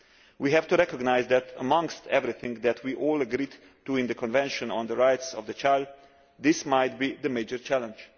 We have to recognise that, amongst everything that we all agreed to in the Convention on the Rights of the Child, this might be the major challenge.